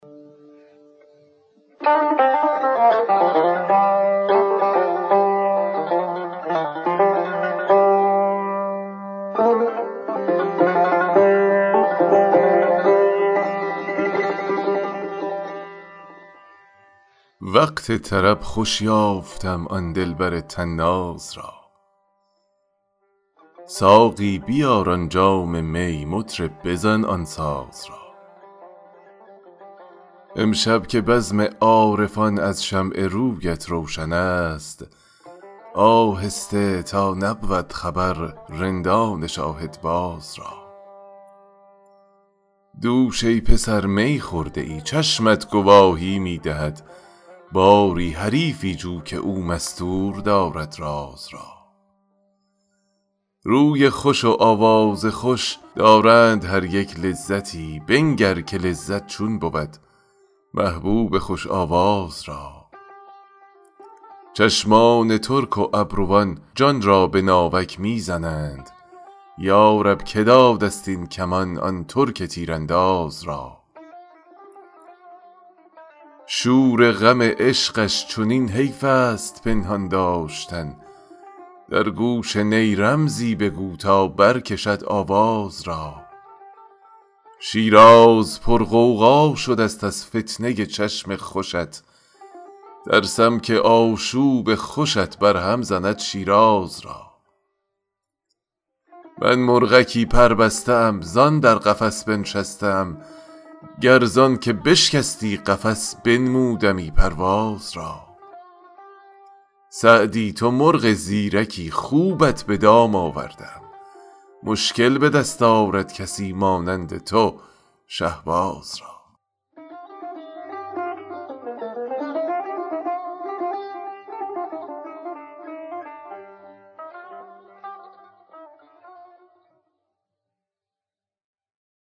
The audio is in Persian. وقت طرب خوش یافتم آن دلبر طناز را ساقی بیار آن جام می مطرب بزن آن ساز را امشب که بزم عارفان از شمع رویت روشن است آهسته تا نبود خبر رندان شاهدباز را دوش ای پسر می خورده ای چشمت گواهی می دهد باری حریفی جو که او مستور دارد راز را روی خوش و آواز خوش دارند هر یک لذتی بنگر که لذت چون بود محبوب خوش آواز را چشمان ترک و ابروان جان را به ناوک می زنند یا رب که داده ست این کمان آن ترک تیرانداز را شور غم عشقش چنین حیف است پنهان داشتن در گوش نی رمزی بگو تا برکشد آواز را شیراز پرغوغا شده ست از فتنه ی چشم خوشت ترسم که آشوب خوشت برهم زند شیراز را من مرغکی پربسته ام زان در قفس بنشسته ام گر زان که بشکستی قفس بنمودمی پرواز را سعدی تو مرغ زیرکی خوبت به دام آورده ام مشکل به دست آرد کسی مانند تو شهباز را